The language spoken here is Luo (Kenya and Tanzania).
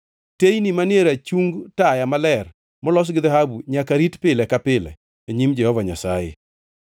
Teyni manie rachung taya maler molos gi dhahabu nyaka rit pile ka pile e nyim Jehova Nyasaye.